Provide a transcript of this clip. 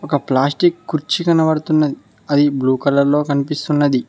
ఒక ప్లాస్టిక్ కుర్చీ కనబడుతున్నది అది బ్లూ కలర్ లో కనిపిస్తున్నది.